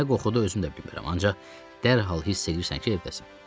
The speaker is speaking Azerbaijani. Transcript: Nə qoxudu özüm də bilmirəm, ancaq dərhal hiss eləyirsən ki, evdəsən.